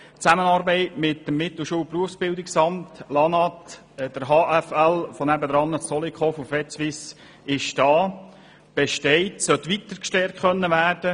Die Zusammenarbeit mit dem Mittelschul- und Berufsbildungsamt, mit dem Amt für Landwirtschaft und Natur (LANAT), der HAFL von nebenan und mit Vetsuisse besteht und sollte weiter gestärkt werden.